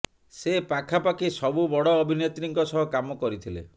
ସେ ପାଖାପାଖି ସବୁ ବଡ଼ ଅଭିନେତ୍ରୀଙ୍କ ସହ କାମ କରିଥିଲେ